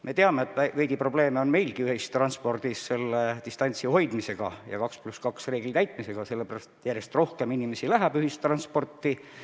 Me teame, et veidi probleeme on meil ühistranspordis distantsi hoidmisega, selle 2 + 2 reegli täitmisega, sellepärast et järjest rohkem inimesi kasutab jälle ühistransporti.